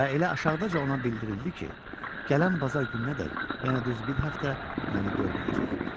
Və elə aşağıdaca ona bildirildi ki, gələn bazar gününədək, yəni düz bir həftə məni görməyəcək.